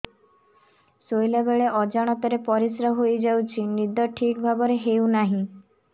ଶୋଇଲା ବେଳେ ଅଜାଣତରେ ପରିସ୍ରା ହୋଇଯାଉଛି ନିଦ ଠିକ ଭାବରେ ହେଉ ନାହିଁ